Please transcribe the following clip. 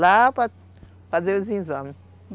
Lá para fazer os exames.